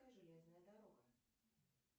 железная дорога